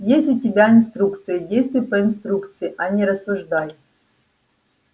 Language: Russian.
есть у тебя инструкция и действуй по инструкции а не рассуждай